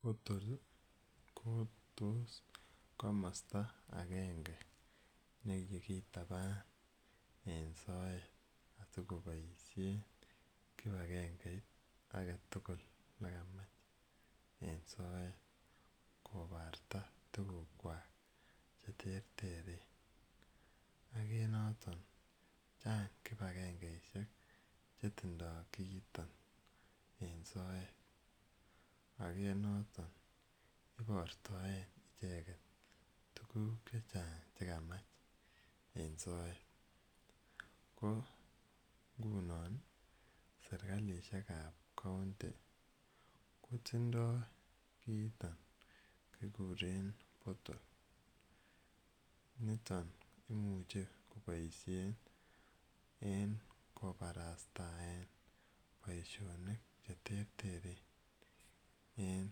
Portal ko tos komasta agenge ne kikitapan en soet asikopaishen kip agengeit age tugul ne kamach en soet koparta tugukwak che terteren. Ak eng' notok, chang' kipagengeishek che tindai kiiton en soet. Age noton ipartaen icheget tuguk che chang' che kamach eng' soet. Ko ngunon i, serkalishek ap county ko tindai kiiton kikire portal. Niton imuchi kopaishen en koparastaen poishonik che terteren en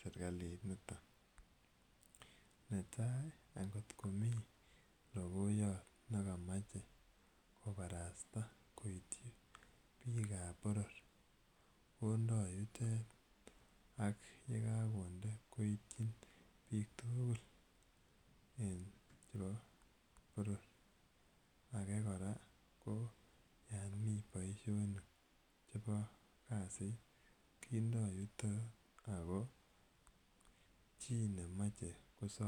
serkaliniton. Netai angot komi logoiyat ne kamache koparasta koitchi piik ap poror kondai yutet ak ye kakonde koitchin piik tugul chepo poror anan age kora ko yan mi poishonik chepo kasit kindai yutok ako chi ne mache kosame.